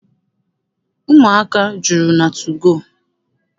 Ụmụaka juru na tugoo.